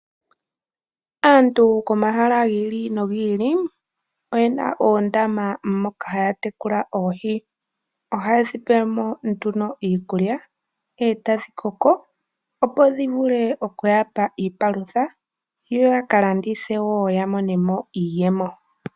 Aantu komahala gili no gili oyena oondama moka haya tekula oohi, oha yedhi peyelemo nduno iikulya, etadhi koko opo dhi vule oku yapa iipalutha, yo yaka landithe wo ya monemo iiyemo.